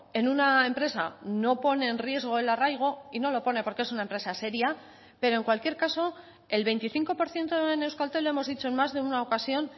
en una empresa no pone en riesgo el arraigo y no lo pone porque es una empresa seria pero en cualquier caso el veinticinco por ciento en euskaltel lo hemos dicho en más de una ocasión